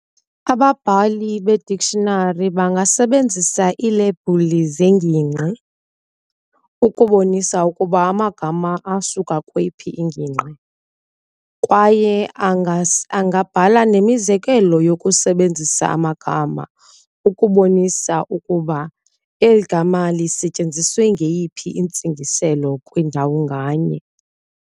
Ababhali bee-dictionary bangasebenzisa iilebhuli zengingqi ukubonisa ukuba amagama asuka kweyiphi iingingqi. Kwaye angabhala nemizekelo yokusebenzisa amagama ukubonisa ukuba eli gama lisetyenziswe ngeyiphi intsingiselo kwindawo nganye.